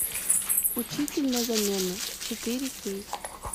учитель на замену четыре кей